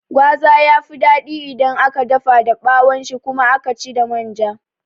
Gwaza yafi daɗi idan aka dafa da ɓawon shi kuma aka ci da manja